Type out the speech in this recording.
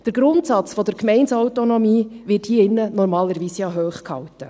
Der Grundsatz der Gemeindeautonomie wird hier in diesem Saal normalerweise ja hochgehalten.